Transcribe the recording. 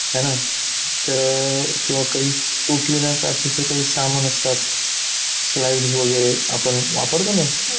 हे ना, तर किंवा काही तुटलेल्या काचेचे काही सामान असतात. slides वगैरे आपण वापरतो ना?